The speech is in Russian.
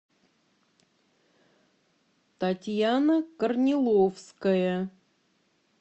татьяна корниловская